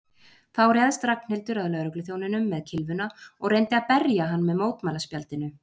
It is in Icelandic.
Þá réðst Ragnhildur að lögregluþjóninum með kylfuna og reyndi að berja hann með mótmælaspjaldinu.